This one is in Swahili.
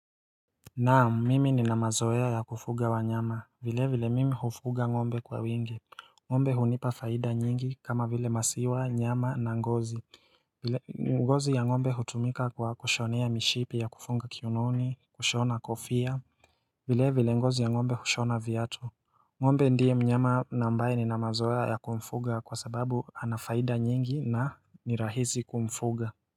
Naam, mimi nina mazoea ya kufuga wanyama, vile vile mimi hufuga ng'ombe kwa wingi. Ng'ombe hunipa faida nyingi kama vile maziwa, nyama na ngozi ngozi ya ngombe hutumika kwa kushonea mishipi ya kufunga kiunoni, kushona kofia vile vile ngozi ya ngombe hushona viatu ng'ombe ndiye mnyama na ambaye nina mazoea ya kumfuga kwa sababu ana faida nyingi na ni rahisi kumfuga.